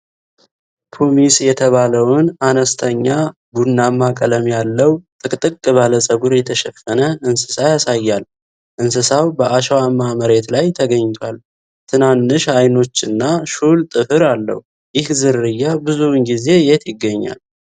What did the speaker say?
ፑሚስ የሚባለውን አነስተኛ፣ ቡናማ ቀለም ያለው፣ ጥቅጥቅ ባለ ፀጉር የተሸፈነ እንስሳ ያሳያል። እንስሳው በአሸዋማ መሬት ላይ ተኝቷል። ትናንሽ አይኖችና ሹል ጥፍር አለው። ይህ ዝርያ ብዙውን ጊዜ የት ይገኛል?